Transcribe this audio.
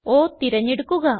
O തിരഞ്ഞെടുക്കുക